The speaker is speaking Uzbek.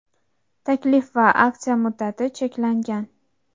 Taklif va aksiya muddati cheklangan.